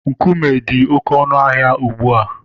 Nkume dị oké ọnụ ahịa ugbu a.